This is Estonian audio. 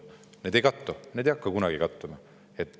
Need ei kattu, need ei hakka kunagi kattuma.